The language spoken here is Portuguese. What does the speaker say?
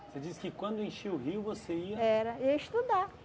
Você disse que quando enchia o rio você ia... Era, ia estudar.